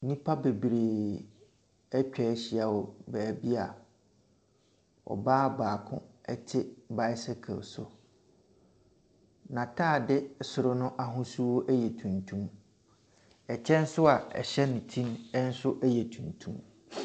Nipa bebree ɛtwahyia wɔ baabi a ɔbaa baako ɛte bicycle so. Na taade soro no ahosuo ɛyɛ tuntum. Ɛkyɛ nso ɛhyɛ ne ti ɛnso yɛ tuntum.